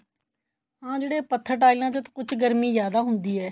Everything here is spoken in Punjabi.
ਹਾਂ ਜਿਹੜੇ ਪੱਥਰ ਟਾਈਲਾ ਉੱਥੇ ਕੁੱਛ ਗਰਮੀ ਜਿਆਦਾ ਹੁੰਦੀ ਹੈ